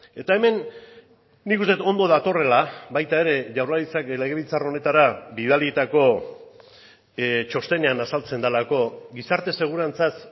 eta hemen nik uste dut ondo datorrela baita ere jaurlaritzak legebiltzar honetara bidalitako txostenean azaltzen delako gizarte segurantzaz